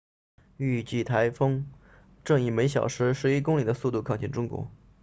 预计台风正以每小时十一公里的速度靠近中国